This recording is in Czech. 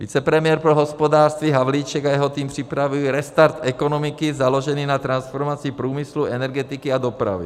Vicepremiér pro hospodářství Havlíček a jeho tým připravují restart ekonomiky založený na transformaci průmyslu, energetiky a dopravy.